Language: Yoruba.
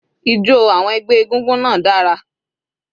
Ijo àwọn ẹgbẹ́ egúngún náà dára.